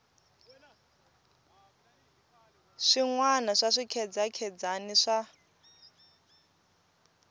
swin wana swa swikhedzakhedzani swa